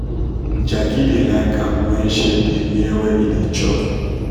jacky da like am when shade da near where e da chop